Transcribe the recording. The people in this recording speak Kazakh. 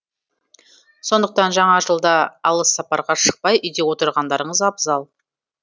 сондықтан жаңа жылда алыс сапарға шықпай үйде отырғандарыңыз абзал